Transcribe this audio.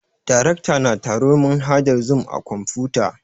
Darekta na taro ta manhajar zoom a kwamfuta